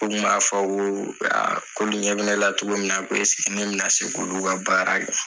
O Kun b'a fɔ ko ko olu ɲɛ bɛ ne la cogo min na ko ne bɛ na se k'olu ka baara kɛ.